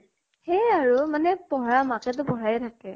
সেয়ে আৰু মানে পঢ়া মাকে তো পঢ়াইয়ে থাকে।